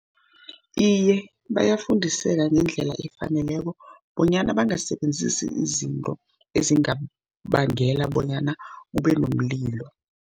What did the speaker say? Iye, bayafundiseka ngendlela efaneleko, bonyana bangasebenzisi izinto ezingabangela bonyana kube nomlilo.